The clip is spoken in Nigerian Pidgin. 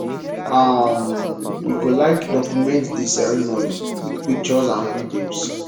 um we go like document di ceremony with pictures and videos